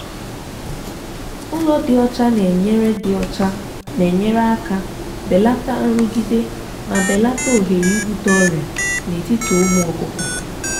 ụlọ dị ọcha na-enyere dị ọcha na-enyere aka belata nrụgide ma belata ohere ibute ọrịa n'etiti ụmụ ọkụkọ.